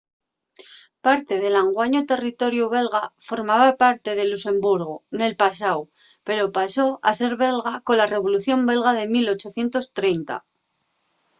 parte del anguaño territoriu belga formaba parte de luxemburgu nel pasáu pero pasó a ser belga cola revolución belga de 1830